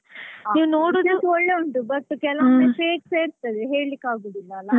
ಹಾ ನೋಡುದಕ್ಕೆ ಒಳ್ಳೆ ಒಂಟು but ಕೆಲವೊಮ್ಮೆ fake ಸ ಇರ್ತದಲ್ವಾಹೇಳಿಕ್ಕೆಆಗೋದಿಲ್ಲಲ್ಲ.